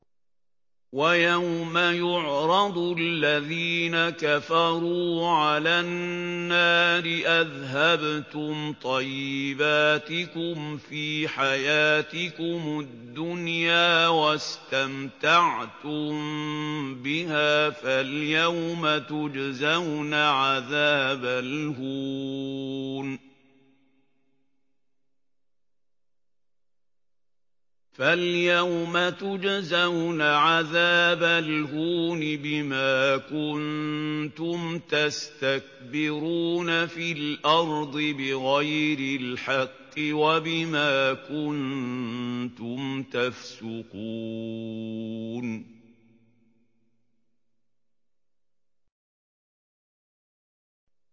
وَيَوْمَ يُعْرَضُ الَّذِينَ كَفَرُوا عَلَى النَّارِ أَذْهَبْتُمْ طَيِّبَاتِكُمْ فِي حَيَاتِكُمُ الدُّنْيَا وَاسْتَمْتَعْتُم بِهَا فَالْيَوْمَ تُجْزَوْنَ عَذَابَ الْهُونِ بِمَا كُنتُمْ تَسْتَكْبِرُونَ فِي الْأَرْضِ بِغَيْرِ الْحَقِّ وَبِمَا كُنتُمْ تَفْسُقُونَ